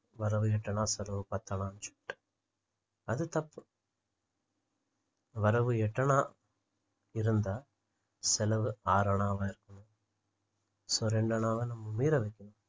வரவு எட்டணா செலவு பத்தணா சொல்லிட்டு அது தப்பு வரவு எட்டணா இருந்தா செலவு ஆறணாவா இருக்கணும் so இரண்டு அணாவை நம்ம மீதம் வைக்கணும் so